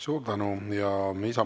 Suur tänu!